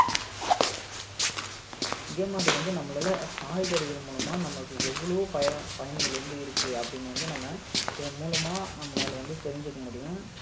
இதேமாதிரி வந்து நம்மளால காய்கறிகள் மூலமா நம்மளுக்கு எவ்வளவோ பய~ பயன்கள் வந்து இருக்கு அப்படின்னு வந்து நம்ம இதன் மூலமா நம்மளால வந்து தெரிஞ்சுக்க முடியும்